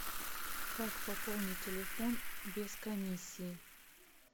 как пополнить телефон без комиссии